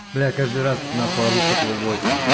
бля я каждый раз ору с этого войса